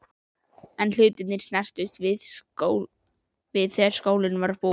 En hlutirnir snerust við þegar skólinn var búinn.